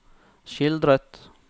skildret